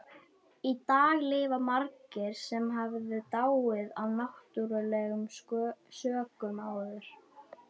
Þrátt fyrir þetta hafa allir sniglar aðeins einn kynkirtil.